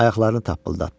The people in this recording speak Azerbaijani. Ayaqlarını tappıldatdı.